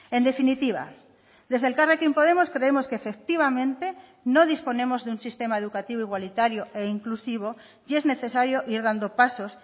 en definitiva desde elkarrekin podemos creemos que efectivamente no disponemos de un sistema educativo igualitario e inclusivo y es necesario ir dando pasos